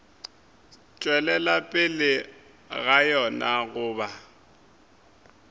tšwelela pele ga yona goba